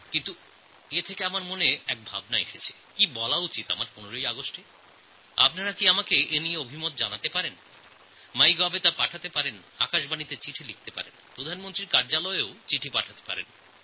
কিন্তু এর থেকে আমার এক ভাবনা এসেছে যে এবার ১৫ই অগাস্টে আমার কী বলা উচিত আপনারা কি এব্যাপারে কোনো উপদেশ পাঠাতে পারেন মাইগভ পোর্টালে পাঠাতে পারেন আকাশবাণীতে চিঠি লিখতে পারেন প্রধানমন্ত্রীর কার্যালয়েও চিঠি লিখতে পারেন